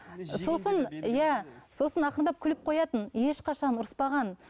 сосын иә сосын ақырындап күліп қоятын ешқашан ұрыспаған